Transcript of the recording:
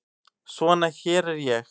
Svo hér er ég.